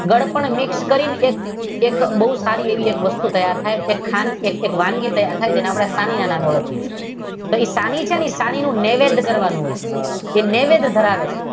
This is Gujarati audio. ગળપણ મિક્સ કરી એક બહુ સારી એક વસ્તુ તૈયાર થાય એમ છે ખાંડ થી એક વાનગી તૈયાર થાય એમ જેને આપડે સાની ના નામે ઓળખીએ છીએ. એ સાની છે ને એ સાની નું નૈવેદ્ય કરવાનું હોય છે એ નૈવેદ્ય ધરાવે છે.